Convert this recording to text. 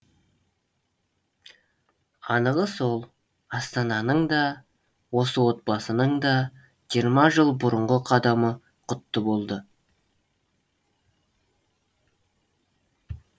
анығы сол астананың да осы отбасының да жиырма жыл бұрынғы қадамы құтты болды